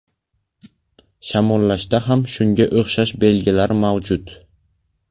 Shamollashda ham shunga o‘xshash belgilar mavjud.